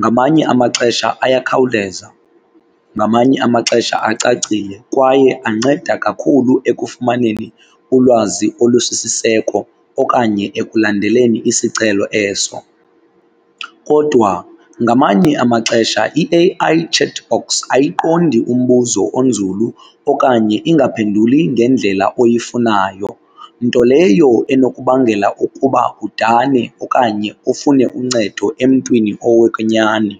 Ngamanye amaxesha ayakhawuleza, ngamanye amaxesha acacile kwaye anceda kakhulu ekufumaneni ulwazi olusisiseko okanye ekulandeleni isicelo eso. Kodwa ngamanye amaxesha i-A_I chat box ayiqondi umbuzo onzulu okanye ingaphenduli ngendlela oyifunayo nto leyo enokubangela ukuba udane okanye ufune uncedo emntwini owokwenyani.